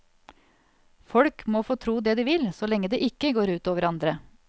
Folk må få tro det de vil, så lenge det ikke går ut over andre.